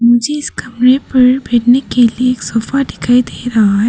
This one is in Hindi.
जिस कमरे पर बैठने के लिए एक सोफा दिखाई दे रहा है।